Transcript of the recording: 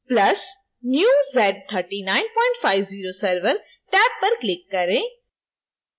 + new z3950 server tab पर click करें